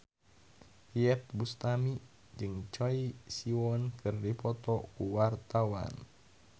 Iyeth Bustami jeung Choi Siwon keur dipoto ku wartawan